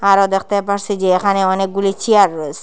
আরও দেখতে পারসি যে এখানে অনেকগুলি চিয়ার রয়েসে।